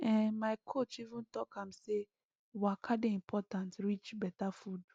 ehn my coach even talk am say waka dey important reach better food